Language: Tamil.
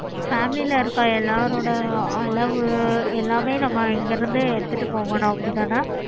family ல இருக்க எல்லாரோட அளவு